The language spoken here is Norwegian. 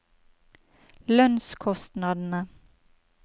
lønnskostnadene